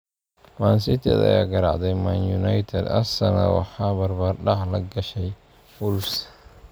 Man City ayaa garaacday Man United, Arsenal waxaa barbardhac la gashay Wolves